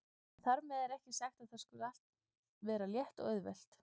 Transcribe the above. En þar með er ekki sagt að þar skuli allt vera létt og auðvelt.